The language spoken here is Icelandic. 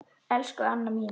Elsku Anna mín.